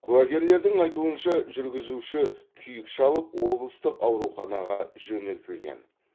куәгерлердің айтуынша жүргізуші күйік шалып облыстық ауруханаға жөнелтілген